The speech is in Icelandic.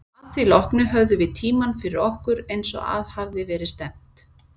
Að því loknu höfðum við tímann fyrir okkur, eins og að hafði verið stefnt.